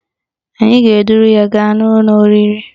Anyị ga-eduru ya gaa n'ụlọ oriri